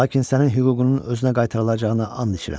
Lakin sənin hüququnun özünə qaytarılacağına and içirəm.